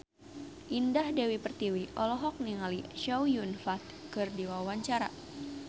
Indah Dewi Pertiwi olohok ningali Chow Yun Fat keur diwawancara